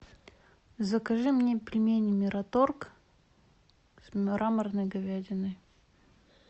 закажи мне пельмени мираторг с мраморной говядиной